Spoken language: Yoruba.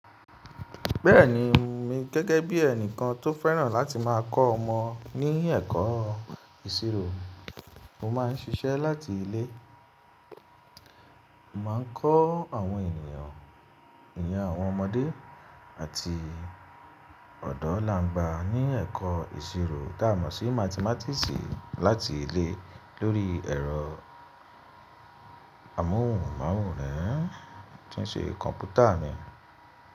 Bẹ́ẹ̀ni, emi gẹ́gẹ́ bí ẹnìkan tó fẹ́ràn láti máa kọ́ ọmọ ní ẹ̀kọ́ ìṣirò, mo máa ń ṣiṣẹ́ láti ilé. Mo máa ń kọ́ àwọn ènìyàn, ìyen àwọn ọmọdé àti ọ̀dọ́ làángba ní ẹ̀kọ́ ìṣirò tá a mọ̀ sí mathematics láti ilé lórí ẹ̀rọ amóhùnmáwòrán tí ń ṣe kọ̀mpútà mi.